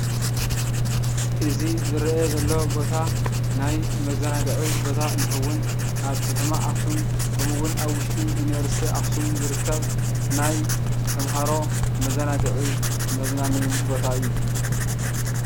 እዚ ዝርአ ዘሎ ቦታ ናይ መዘናግዒ ቦታ እንትኸውን ኣብ ከተማ ኣኽሱም ከምኡውን ኣብ ውሽጢ ዩኒበርስቲ ኣኽሱም ዝርከብ ናይ ተምሃሮ መዘናግዒ መዝናነይን ቦታ እዩ፡፡